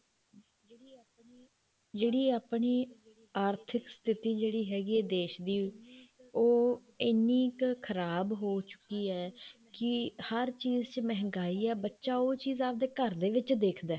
ਜਿਹੜੀ ਆਪਣੀ ਆਰਥਿਕ ਸਥਿਤੀ ਜਿਹੜੀ ਹੈਗੀ ਹੈ ਦੇਸ਼ ਦੀ ਉਹ ਇੰਨੀ ਕ ਖਰਾਬ ਹੋ ਚੁੱਕੀ ਹੈ ਕੀ ਹਰ ਚੀਜ਼ ਚ ਮਹਿੰਗਾਈ ਹੈ ਬੱਚਾ ਉਹ ਚੀਜ਼ ਆਪਣੇ ਘਰਦੇ ਵਿੱਚ ਦੇਖਦਾ